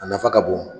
A nafa ka bon